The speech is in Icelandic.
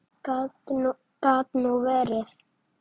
Gat nú verið!